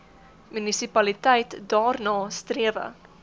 munisipaliteit daarna strewe